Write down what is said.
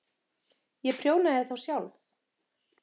Ég prjónaði þá sjálf.